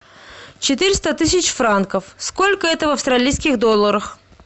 четыреста тысяч франков сколько это в австралийских долларах